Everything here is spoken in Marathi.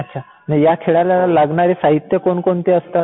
अच्छा. मग ह्या खेळाला लागणारे साहित्य कोणकोणते असतात?